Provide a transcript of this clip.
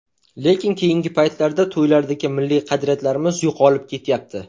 Lekin keyingi paytlarda to‘ylardagi milliy qadriyatlarimiz yo‘qolib ketyapti.